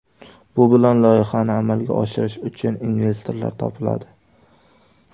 Bu bilan loyihani amalga oshirish uchun investorlar topiladi.